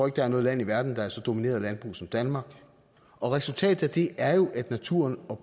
at der er noget land i verden der er så domineret af landbrug som danmark og resultatet af det er jo at naturen og